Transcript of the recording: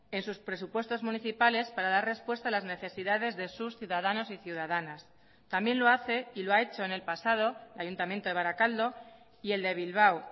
en sus presupuestos municipales para dar respuesta a las necesidades de sus ciudadanos y ciudadanas también lo hace y lo ha hecho en el pasado el ayuntamiento de barakaldo y el de bilbao